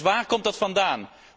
Dus waar komt dat vandaan?